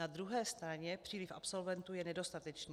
Na druhé straně příliv absolventů je nedostatečný.